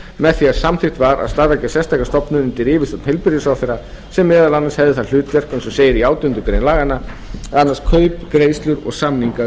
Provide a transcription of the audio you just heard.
með því að samþykkt var að starfrækja sérstaka stofnun undir yfirstjórn heilbrigðisráðherra sem meðal annars hefði það hlutverk eins og segir í átjándu grein laganna að annast kaup greiðslur og samninga um